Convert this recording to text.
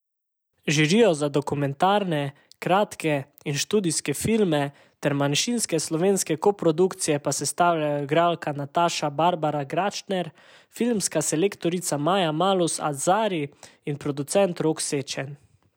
Žirijo za dokumentarne, kratke in študijske filme ter manjšinske slovenske koprodukcije pa sestavljajo igralka Nataša Barbara Gračner, filmska selektorica Maja Malus Azhdari in producent Rok Sečen.